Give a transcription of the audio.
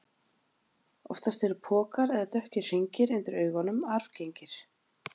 Oftast eru pokar eða dökkir hringir undir augunum arfgengir.